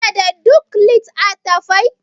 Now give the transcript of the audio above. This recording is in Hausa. kana da duk lit? attafai